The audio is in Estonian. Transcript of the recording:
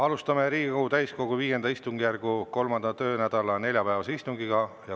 Alustame Riigikogu täiskogu V istungjärgu 3. töönädala neljapäevast istungit.